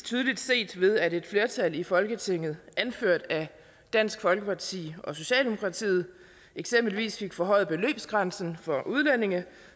tydeligt set ved at et flertal i folketinget anført af dansk folkeparti og socialdemokratiet eksempelvis fik forhøjet beløbsgrænsen for udlændinge